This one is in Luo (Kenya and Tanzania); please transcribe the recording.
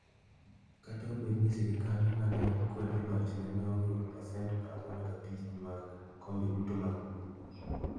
Kata obedo ni sirkande ma ne kwedo lochne ne oyudo pasent 45 mag kombe duto mag bunge.